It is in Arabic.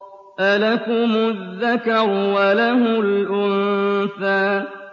أَلَكُمُ الذَّكَرُ وَلَهُ الْأُنثَىٰ